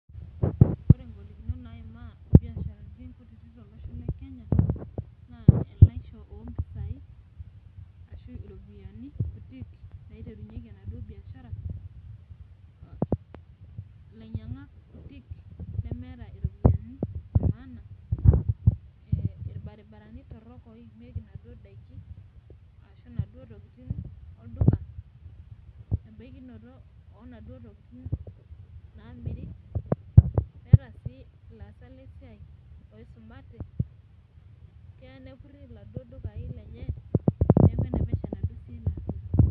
ore igolikinot naaimaa ibiasharani kutitik tolosho lekenya naa elaisho oo impisai ashu iropiyiani kutik, naiterunyieki enaduo biashara ilanyiangak kutik lemeeta iropiyiani, inaduo daikin ashu inaduo tokitin olduka , loo inaduo tokitin naamiri keya ninye neeku enepesho enaduoo siai ino.